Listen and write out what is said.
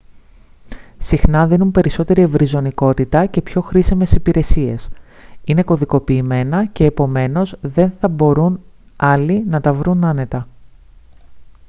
συχνά δίνουν περισσότερη ευρυζωνικότητα και πιο χρήσιμες υπηρεσίες είναι κωδικοποιημένα και επομένως δεν θα μπορούν άλλοι να τα βρουν άνετα